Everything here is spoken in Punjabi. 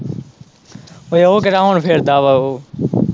ਓਏ ਉਹ ਕਿਹੜਾ ਹੁਣ ਫਿਰਦਾ ਵਾ ਉਹ।